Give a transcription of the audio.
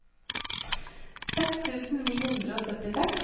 seks tusen ni hundre og syttiseks